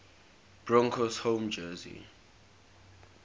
broncos home jersey